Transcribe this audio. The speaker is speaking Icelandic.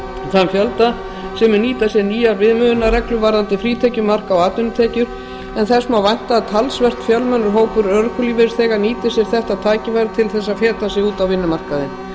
þann fjölda sem mun nýta sér nýjar viðmiðunarreglur varðandi frítekjumark á atvinnutekjur en þess má vænta að talsvert fjölmennur hópur örorkulífeyrisþega nýti sér þetta tækifæri til þess að feta sig út á vinnumarkaðinn